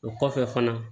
O kɔfɛ fana